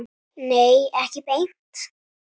Nei, ekki beint.